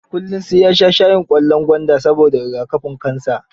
Kullum sai ya sha shayin ƙwallon gwanda, saboda riga kafin kansa.